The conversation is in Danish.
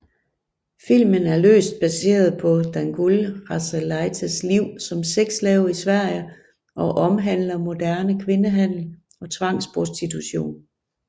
Filmen er løst baseret på Dangoule Rasalaites liv som sexslave i Sverige og omhandler moderne kvindehandel og tvangsprostitution